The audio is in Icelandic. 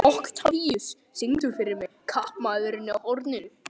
Oktavíus, syngdu fyrir mig „Kaupmaðurinn á horninu“.